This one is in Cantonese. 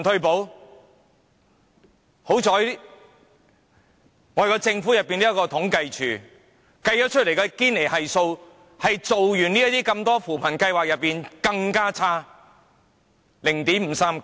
幸好還有政府統計處，它計算出堅尼系數在推行那麼多扶貧計劃後反而變得更差，達至 0.539。